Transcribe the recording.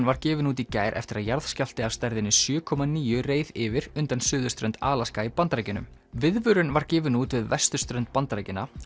var gefin út í gær eftir að jarðskjálfti af stærðinni sjö komma níu reið yfir undan suðurströnd Alaska í Bandaríkjunum viðvörun var gefin út við vesturströnd Bandaríkjanna